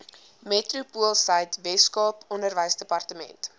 metropoolsuid weskaap onderwysdepartement